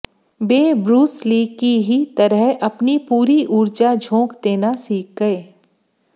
वे Bruce Lee की ही तरह अपनी पूरी ऊर्जा झोंक देना सीख गए